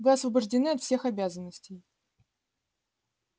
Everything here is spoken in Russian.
вы освобождены от всех обязанностей